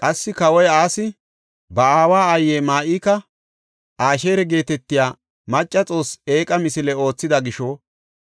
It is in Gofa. Qassi, kawoy Asi ba aawa aayiya Ma7ika Asheera geetetiya macca Xoossee eeqa misile oothida gisho